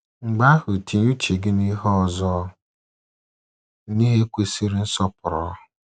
Mgbe ahụ tinye uche gị n’ihe ọzọ — n’ihe kwesịrị nsọpụrụ.